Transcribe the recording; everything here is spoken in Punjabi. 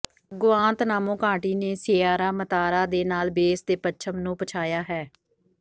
ਗੁਆਂਤਨਾਮੋ ਘਾਟੀ ਨੇ ਸੀਅਰਾ ਮੇਤਾਰਾ ਦੇ ਨਾਲ ਬੇਸ ਦੇ ਪੱਛਮ ਨੂੰ ਪਛਾਇਆ ਹੈ